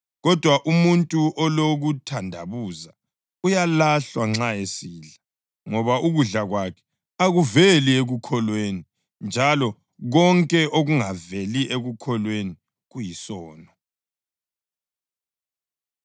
Kodwa umuntu olokuthandabuza uyalahlwa nxa esidla, ngoba ukudla kwakhe akuveli ekukholweni; njalo konke okungaveli ekukholweni kuyisono.